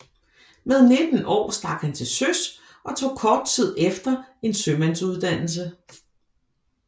Med 19 år stak han til søs og tog kort tid efter en sømandsuddannelse